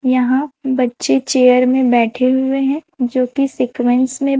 यहां बच्चे चेयर में बैठे हुए हैं जो की सीक्वेंस में--